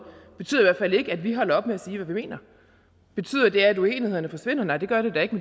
betyder i hvert fald ikke at vi holder op med at sige hvad vi mener betyder det at uenighederne forsvinder nej det gør det da ikke